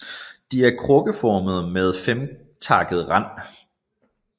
De er krukkeformede med en femtakket rand